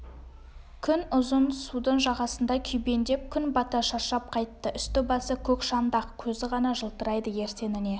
күн ұзын судың жағасында күйбеңдеп күн бата шаршап қайтты үсті-басы көк шаңдақ көзі ғана жылтырайды ертеңіне